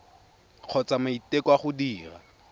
kgotsa maiteko a go dira